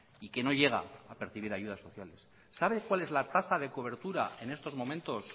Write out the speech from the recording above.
y que no llega a percibir ayudas sociales sabe cuál es la tasa de cobertura en estos momentos